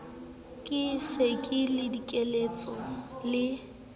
ke se ke dikelletse le